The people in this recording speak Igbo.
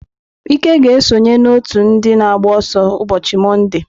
Ike ga-esonye n'otu ndị na-agba ọsọ ụbọchị Mọnde.